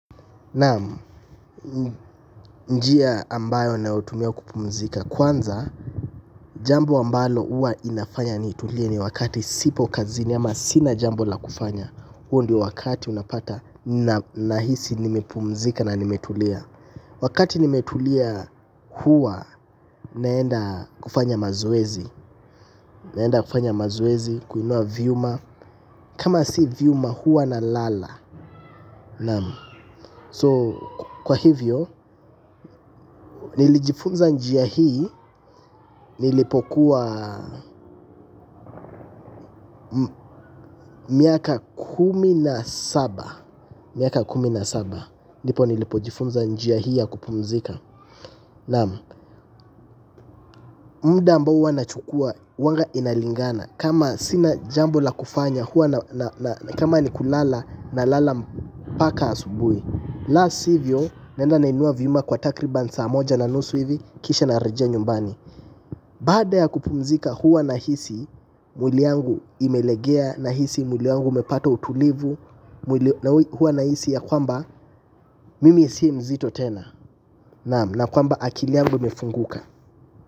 Naam, n njia ambayo nayotumia kupumzika kwanza, jambo ambalo huwa inafanya nitulie ni wakati sipo kazini ama sina jambo la kufanya huo ndio wakati unapata na nahisi nimepumzika na nimetulia wakati nimetulia huwa, naenda kufanya mazoezi naenda kufanya mazoezi, kuinua vyuma kama si vyuma huwa na lala Naam. So, kwa hivyo, nilijifunza njia hii nilipo kuwa miaka kumi na saba miaka kumi na saba ndipo nilipojifunza njia hii ya kupumzika naam mda ambao huwa nachukua huwanga inalingana kama sina jambo la kufanya huwa na na na na kama ni kulala na lala mpaka asubui la sivyo naenda nainua vyuma kwa takriban saa moja na nusu hivi kisha narejea nyumbani baada ya kupumzika huwa nahisi mwili yangu imelegea nahisi mwili wangu umepata utulivu mwili na hua nahisi ya kwamba mimi si mzito tena naam na kwamba akili yangu imefunguka.